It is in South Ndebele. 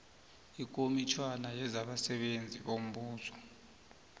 ikomitjhana yezabasebenzi bombuso